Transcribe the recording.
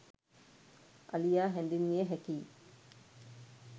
අලියා හැඳින්විය හැකියි.